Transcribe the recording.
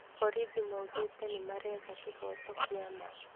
Borithi maugĩte nimaretha kĩhoto kĩa ma